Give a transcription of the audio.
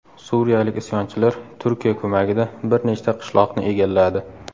Suriyalik isyonchilar Turkiya ko‘magida bir nechta qishloqni egalladi.